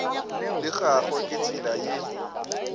la gagwe ke tsela ye